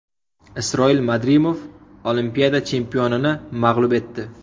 Isroil Madrimov Olimpiada chempionini mag‘lub etdi.